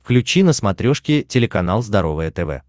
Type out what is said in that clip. включи на смотрешке телеканал здоровое тв